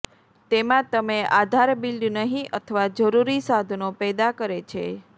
તેમાં તમે આધાર બિલ્ડ નહીં અથવા જરૂરી સાધનો પેદા કરે છે